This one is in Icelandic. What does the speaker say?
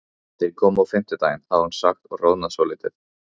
Þeir koma á fimmtudaginn, hafði hún sagt og roðnað svolítið.